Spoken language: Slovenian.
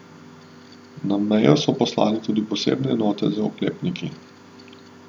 Na mejo so poslali tudi posebne enote z oklepniki.